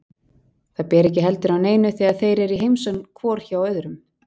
Það ber ekki heldur á neinu þegar þeir eru í heimsókn hvor hjá öðrum.